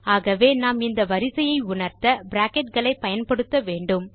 ஆகவே நாம் இந்த வரிசையை உணர்த்த பிராக்கெட் களை பயன்படுத்த வேண்டும்